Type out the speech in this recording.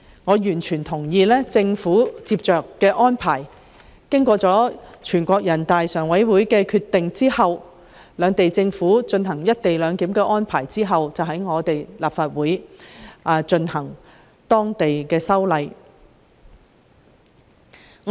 我完全同意政府作出後續安排，在獲得全國人大常委會批准兩地政府實施"一地兩檢"安排後，在立法會進行相關的本地立法工作。